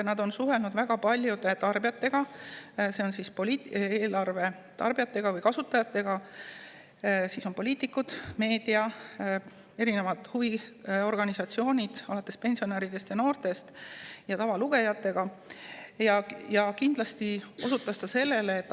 Nad on suhelnud väga paljude tarbijatega, eelarve kasutajatega, kes on poliitikud, meedia, huviorganisatsioonid alates pensionäridest ja noortest ning tavalugejatega.